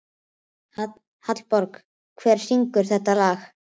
Hallborg, hver syngur þetta lag?